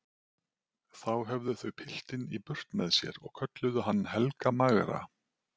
Þá höfðu þau piltinn í burt með sér og kölluðu hann Helga magra.